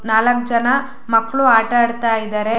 ನಾಲಕ್ ಜನ ಮಕ್ಕಳು ಆಟ ಆಡತ್ತಿದರೆ.